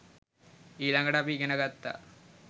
ඊළඟට අපි ඉගෙන ගත්තා